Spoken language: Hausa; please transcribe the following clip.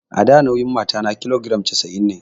A da nauyin matata kilogiram casa'in ne